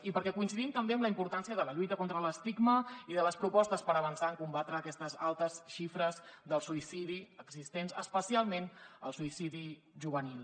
i perquè coincidim també amb la importància de la lluita contra l’estigma i de les propostes per avançar en combatre aquestes altes xifres del suïcidi existents especialment el suïcidi juvenil